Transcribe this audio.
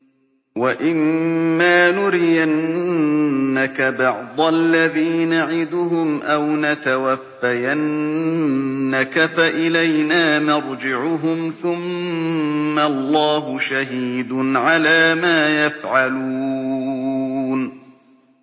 وَإِمَّا نُرِيَنَّكَ بَعْضَ الَّذِي نَعِدُهُمْ أَوْ نَتَوَفَّيَنَّكَ فَإِلَيْنَا مَرْجِعُهُمْ ثُمَّ اللَّهُ شَهِيدٌ عَلَىٰ مَا يَفْعَلُونَ